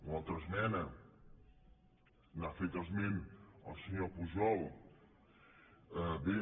una altra esmena n’ha fet esment el senyor pujol bé